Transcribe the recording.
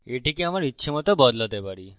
আমি এটিকে আমার ইচ্ছেমত বদলাতে পারি